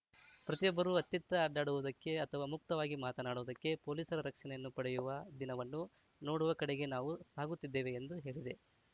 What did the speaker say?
ಪ್ರತಿಯೊಬ್ಬರೂ ಅತ್ತಿತ್ತ ಅಡ್ಡಾಡುವುದಕ್ಕೆ ಅಥವಾ ಮುಕ್ತವಾಗಿ ಮಾತನಾಡುವುದಕ್ಕೆ ಪೊಲೀಸರ ರಕ್ಷಣೆಯನ್ನು ಪಡೆಯುವ ದಿನವನ್ನು ನೋಡುವ ಕಡೆಗೆ ನಾವು ಸಾಗುತ್ತಿದ್ದೇವೆ ಎಂದು ಹೇಳಿದೆ